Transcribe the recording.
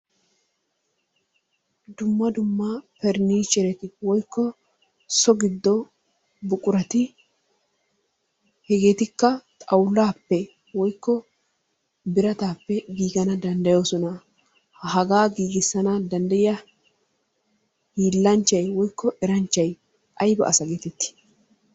Dumma dumma parinichereti wotkko so giddo buqurati hegeetikka xawullappe woykko biratappe giigana danddayoosona. Haga giigissana danddayyiya hiilanchchay woykko eranchchay aybba asa getetti?